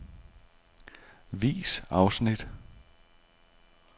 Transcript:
Vis afsnit.